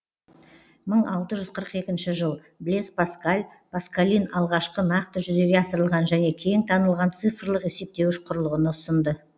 мың алты жүз қырық екінші жыл блез паскаль паскалин алғашқы нақты жүзеге асырылған және кең танылған цифрлық есептеуіш құрылғыны ұсынды